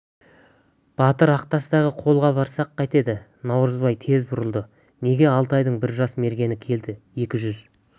батыр ақтастағы қолға барсақ қайтеді наурызбай тез бұрылды неге алтайдың бір жас мергені келді екі жүз